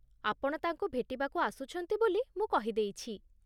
ଆପଣ ତାଙ୍କୁ ଭେଟିବାକୁ ଆସୁଛନ୍ତି ବୋଲି ମୁଁ କହିଦେଇଛି ।